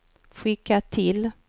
skicka till